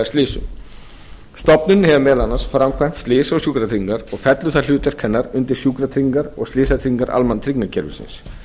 slysum stofnunin hefur meðal annars framkvæmd slysa og sjúkratryggingar og fellur það hlutverk hennar undir sjúkratryggingar og slysatryggingar almannatryggingakerfisins